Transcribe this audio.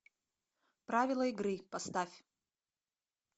правила игры поставь